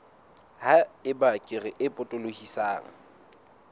ha eba kere e potolohisang